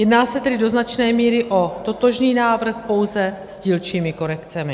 Jedná se tedy do značné míry o totožný návrh, pouze s dílčími korekcemi.